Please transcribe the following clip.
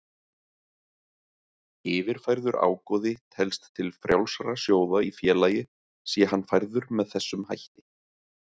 Yfirfærður ágóði telst til frjálsra sjóða í félagi sé hann færður með þessum hætti.